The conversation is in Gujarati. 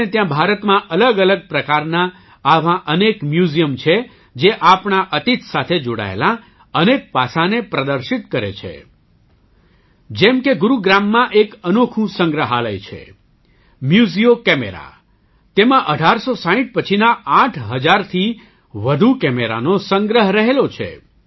આપણે ત્યાં ભારતમાં અલગઅલગ પ્રકારનાં આવાં અનેક મ્યૂઝિયમ છે જે આપણા અતીત સાથે જોડાયેલાં અનેક પાસાંને પ્રદર્શિત કરે છે જેમ કે ગુરુગ્રામમાં એક અનોખું સંગ્રહાલય છે મ્યુઝિયો કેમેરા તેમાં 1860 પછીના આઠ હજારથી વધુ કેમેરાનો સંગ્રહ રહેલો છે